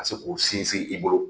Ka se k'u sinsin i bolo.